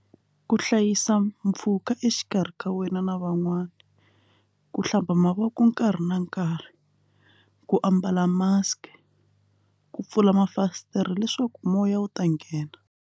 Ku hlayisa mpfhuka exikarhi ka wena na van'wana ku hlamba mavoko nkarhi na nkarhi ku ambala mask ku pfula mafasitere leswaku moya wu ta nghena.